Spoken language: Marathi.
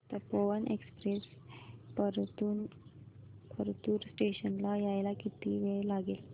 तपोवन एक्सप्रेस परतूर स्टेशन ला यायला किती वेळ लागेल